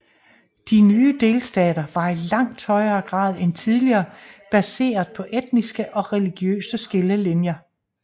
De nye delstater var i langt større grad end tidligere baseret på etniske og religiøse skillelinjer